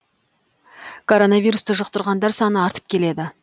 коронвирусты жұқтырғандар саны артып келеді